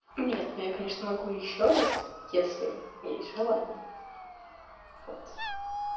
нет но я конечно могу ещё раз если есть желание вот